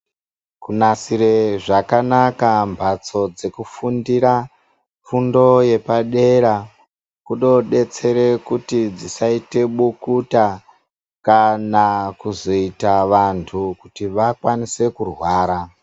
Kunasire zvakanaka mbatso dzekufundira fundo yepadera kunodetsere kuti dzisaite bukuta kana kuzoita vantu kuti vakwanise kurwara.